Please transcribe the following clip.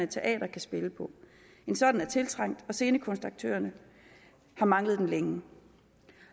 teatre kan spille på en sådan er tiltrængt for scenekunstaktørerne har manglet den længe